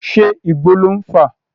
Ṣé Igbó lò ń fà?